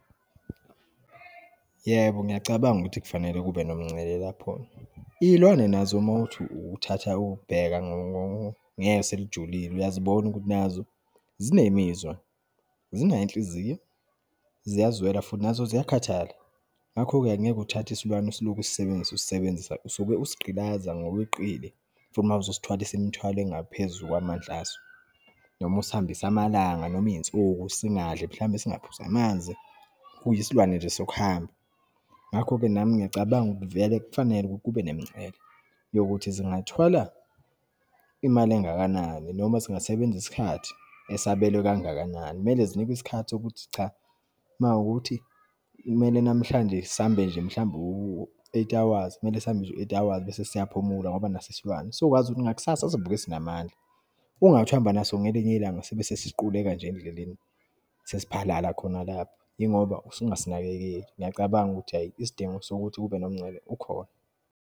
Yebo, ngiyacabanga ukuthi kufanele kube nemingcele lapho. Iyilwane nazo uma wukuthi uthatha ukubheka ngeso elijulile, uyazibona ukuthi nazo, zinemizwa, zinayo inhliziyo, ziyazwela futhi nazo ziyakhathala. Ngakho-ke angeke uthathe isilwane isiloku usisebenzisa, usisebenzisa usuke usigqilaza ngokweqile futhi uma uzosithwalisa imithwalo engaphezu kwamandla aso, noma usihambise amalanga, noma iyinsuku singadli, mhlawumbe singaphuzi namanzi, kuyisilwane nje sokuhamba. Ngakho-ke, nami ngiyacabanga vele kufanele kube nemingcele yokuthi singathwala imali engakanani, noma zingasebenza isikhathi esabelwe kangakanani. Kumele zinikwe isikhathi sokuthi cha, uma kuwukuthi kumele namhlanje sihambe nje, mhlawumbe u-eight hours, kumele sihambe nje u-eight hours, bese siyaphumula ngoba naso isilwane, sokwazi ukuthi ngakusasa sovuke sinamandla. Ungathi uhamba naso, ngelinye ilanga sibesesiqukeka nje endleleni, sesiphalaphala khona lapha, yingoba usuke ungasinakekeli. Ngiyacabanga ukuthi hhayi, isidingo sokuthi kube nomingcele ukhona.